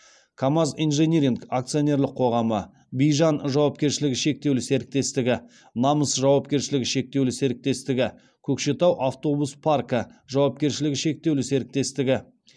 камаз инжиниринг акционерлік қоғамы бижан жауапкершілігі шектеулі серіктестігі намыс жауапкершілігі шектеулі серіктестігі көкшетау автобус паркі жауапкершілігі шектеулі серіктестігі